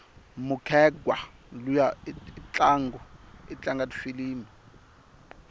mukhegwa luya itlanga tifilimu